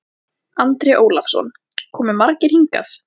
Andri Ólafsson: Komu margir hingað?